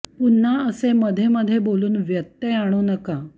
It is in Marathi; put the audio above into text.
पुन्हा असे मध्ये मध्ये बोलून व्यत्यय आणू नका